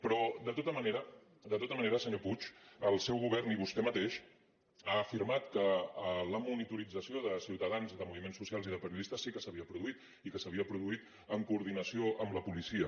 però de tota manera senyor puig el seu govern i vostè mateix han afirmat que la monitorització de ciutadans i de moviments socials i de periodistes sí que s’havia produït i que s’havia produït en coordinació amb la policia